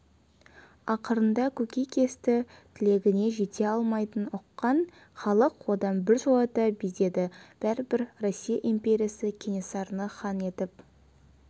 ақырында көкейкесті тілегіне жете алмайтынын ұққан халық одан біржолата безеді бәрібір россия империясы кенесарыны хан етіп